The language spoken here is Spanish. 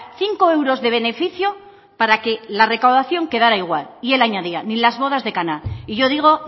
cinco euros de beneficio para que la recaudación quedara igual y el añadía ni las bodas de caná y yo digo